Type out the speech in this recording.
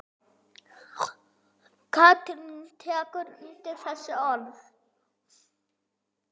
Katrín tekur undir þessi orð.